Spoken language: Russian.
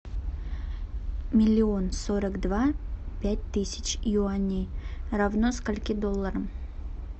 миллион сорок два пять тысяч юаней равно скольки долларам